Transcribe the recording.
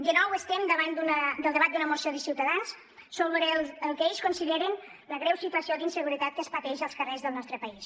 de nou estem davant del debat d’una moció de ciutadans sobre el que ells consideren la greu situació d’inseguretat que es pateix als carrers del nostre país